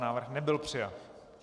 Návrh nebyl přijat.